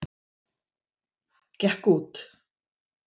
Gekk út.